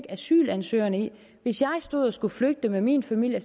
asylansøgerne hvis jeg stod og skulle flygte med min familie